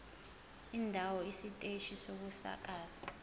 indawo isiteshi sokusakaza